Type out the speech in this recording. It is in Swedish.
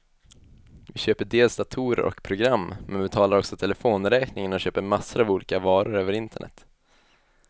Vi köper dels datorer och program, men betalar också telefonräkningen och köper massor av olika varor över internet.